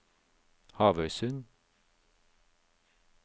Havøysund